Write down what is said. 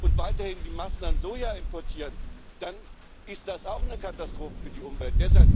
und weiterhin die Massen an Soja importiert, dann ist das auch eine Katastrophe für die Umwelt.